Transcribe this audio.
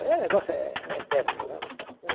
É, o negócio é é tético mesmo.